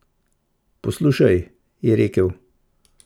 Poslušaj, je rekel.